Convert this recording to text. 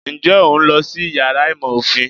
Nje o n lọ sí iyàrá ìmọ ofín?